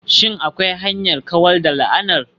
Shin akwai hanyar kawar da la'anar?